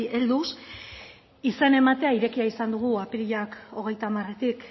helduz izena ematea irekia izan dugu apirilak hogeita hamaretik